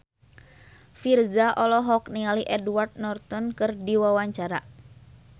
Virzha olohok ningali Edward Norton keur diwawancara